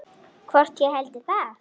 Hvort ég héldi það?